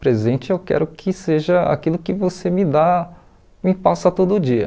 Presente eu quero que seja aquilo que você me dá, me passa todo dia.